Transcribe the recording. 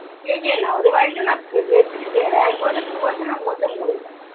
টেকে না, ওদের বাড়িতে না বে বেশিদিন টেকে না। একবছর দু বছর এর মধ্যে মোরে যায়।